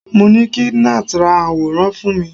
mo ni kí Nath ra aworan fún mi